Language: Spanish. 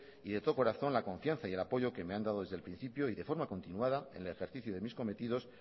y de todo corazón la confianza y el apoyo que me han dado desde el principio y de forma continuada en el ejercicio de mis cometidos